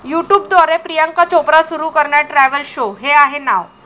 युट्यूबद्वारे प्रियांका चोप्रा सुरू करणार travel show! 'हे' आहे नाव